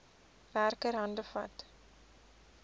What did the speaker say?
werker hande vat